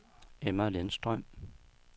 Emma Lindstrøm